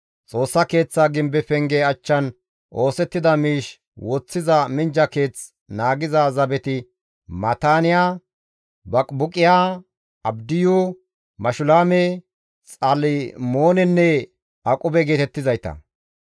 Xoossa Keeththaa gimbe penge achchan oosettida miish woththiza minjja keeth naagiza zabeti Maataaniya, Baqibuqiya, Abdiyu, Mashulaame, Xalmoonenne Aqube geetettizayta.